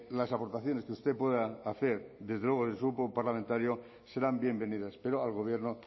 las aportaciones que usted pueda hacer desde luego desde su grupo parlamentario serán bienvenidas pero al gobierno